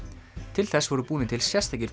til þess voru búnir til sérstakir